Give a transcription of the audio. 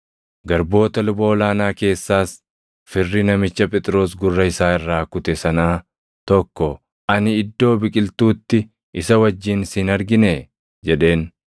Garboota luba ol aanaa keessaas firri namicha Phexros gurra isaa irraa kute sanaa tokko, “Ani iddoo biqiltuutti isa wajjin si hin arginee?” jedheen.